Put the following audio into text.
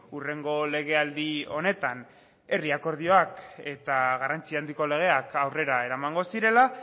hurrengo legealdi honetan herri akordioak eta garrantzi handiko legeak aurrera eramango zirela